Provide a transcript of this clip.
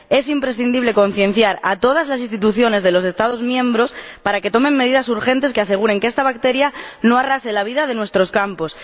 Es imprescindible concienciar a todas las instituciones de los Estados miembros para que tomen medidas urgentes que aseguren que esta bacteria no arrase la vida de nuestros campos.